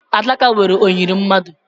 Adaka nwere oyiri mmadụ.